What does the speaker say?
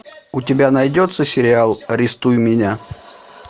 у тебя найдется сериал арестуй меня